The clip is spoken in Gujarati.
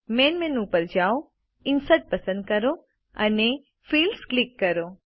મેઇન મેનુ પર જાઓInsert પસંદ કરો અને ફિલ્ડ્સ ક્લિક કરો